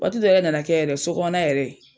Waati dɔ yɛrɛ nana kɛ yɛrɛ sokɔnɔn na yɛrɛ.